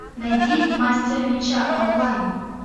найди мастера меча онлайн